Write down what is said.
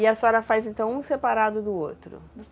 E a senhora faz, então, um separado do outro?